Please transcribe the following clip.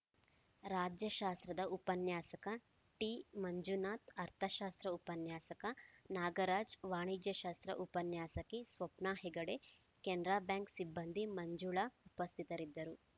ರಾಜ್ಯಶಾಸ್ತ್ರ ಉಪನ್ಯಾಸಕ ಟಿಮಂಜುನಾಥ್‌ ಅರ್ಥಶಾಸ್ತ್ರ ಉಪನ್ಯಾಸಕ ನಾಗರಾಜ್‌ ವಾಣಿಜ್ಯಶಾಸ್ತ್ರ ಉಪನ್ಯಾಸಕಿ ಸ್ವಪ್ನ ಹೆಗಡೆ ಕೆನರಾ ಬ್ಯಾಂಕ್‌ ಸಿಬ್ಬಂದಿ ಮಂಜುಳಾ ಉಪಸ್ಥಿತರಿದ್ದರು